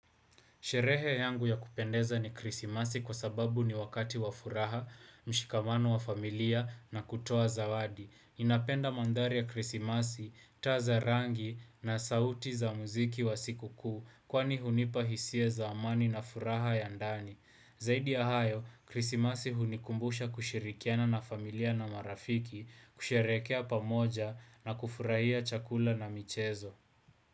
Sherehe yangu ya kupendeza ni Krisimasi kwa sababu ni wakati wa furaha, mshikamano wa familia na kutoa zawadi. Ninapenda mandhari ya Krisimasi, taa za rangi na sauti za muziki wa siku kuu kwani hunipa hisia za amani na furaha ya ndani. Zaidi ya hayo, Krisimasi hunikumbusha kushirikiana na familia na marafiki, kusherehekea pamoja na kufurahia chakula na michezo.